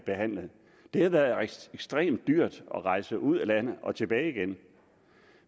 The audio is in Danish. behandlet det har været ekstremt dyrt at rejse ud af landet og tilbage igen